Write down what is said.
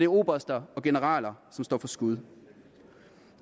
oberster og generaler som står for skud